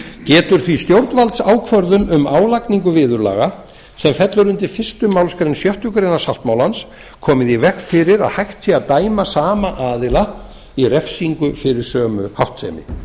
getur því stjórnvaldsákvörðun um álagningu viðurlaga sem fellur undir fyrstu málsgrein sjöttu grein sáttmálans komið í veg fyrir að hægt sé að dæma sama aðila i refsingu fyrir sömu háttsemi